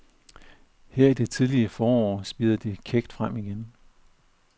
Her i det tidlige forår spirede de kækt frem igen.